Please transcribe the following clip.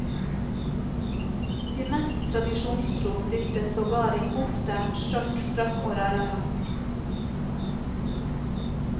De mest tradisjonstro stilte sågar i kofte, skjørt, frakk og rallarhatt.